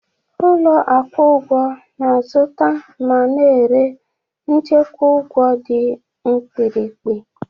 Ụlọ akwụ ụgwọ na-azụta ma na-ere nchekwa ụgwọ dị mkpirikpi.